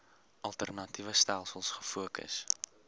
alternatiewe stelsels gefokus